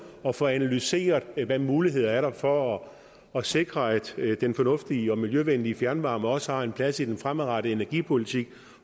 og få analyseret hvilke muligheder der er for at sikre at den fornuftige og miljøvenlige fjernvarme også har en plads i den fremadrettede energipolitik